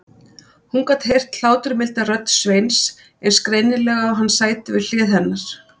Hún gat heyrt hláturmilda rödd Sveins eins greinilega og hann sæti við hlið hennar.